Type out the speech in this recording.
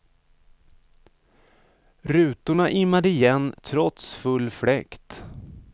Rutorna immade igen trots full fläkt.